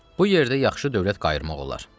Bu yerdə yaxşı dövlət qayırmaq olar.